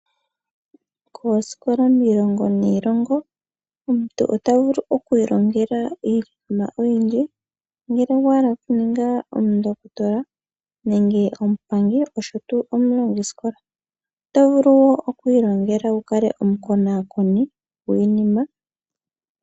Koosikola miilongo niilongo omuntu ota vulu okwiilongela iinima oyindji. Ngele owa hala okuninga omundokotola, nenge omupangi osho wo omulongisikola . Oto vulu okwiilongela wu kale omukonakoni gwiinima.